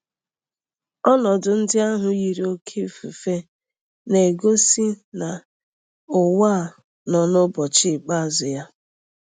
Ọnọdụ ndị ahụ yiri oké ifufe na-egosi na ụwa a nọ n'ụbọchị ikpeazụ ya.